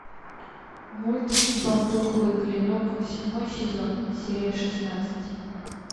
мульт бамбуковый клинок седьмой сезон серия шестнадцать